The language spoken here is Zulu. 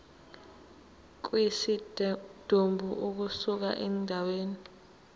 kwesidumbu ukusuka endaweni